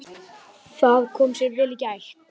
Það kom sér vel í gær.